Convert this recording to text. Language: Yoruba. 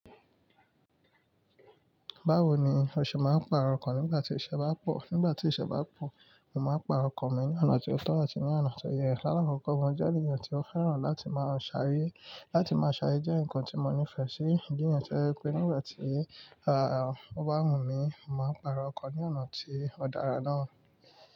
Báwo ni ọṣẹ máa ń pààrọ̀ ọkàn nígbà tí ìṣẹ́ bá pọ̀? Nígbà tí ìṣẹ́ bá pọ̀, mo máa pààrọ̀ ọkàn mi ní ọ̀nà tí ó tọ́ àti ní ọ̀nà tó yẹ lá lákọ́kọ́. Mo jẹ́ ènìyàn tí ó fẹ́ràn láti máa ṣàyè, láti máa ṣàyè jẹ́ nǹkan tí mo nífẹ̀ẹ́ sí. Mo jẹ́ ènìyàn tó rẹ pé nígbà tí, à, ó bá wù mí, mo máa pààrọ̀ ọkàn ní ọ̀nà tí ó dára náà.